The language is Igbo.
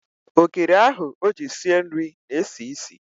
Ogiri ahụ o ji sie nri na-esi isi.